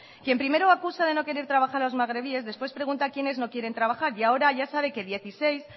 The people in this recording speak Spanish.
quien primero acusa de no querer trabajo a los magrebíes después pregunta quiénes no quieren trabajar y ahora ya sabe que dieciséis